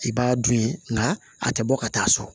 I b'a dun ye nka a tɛ bɔ ka taa so